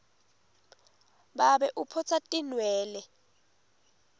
babe uphotsa atinwele